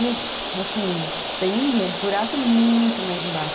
Meu, assim, tem um buraco muito mais embaixo.